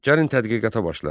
Gəlin tədqiqata başlayaq.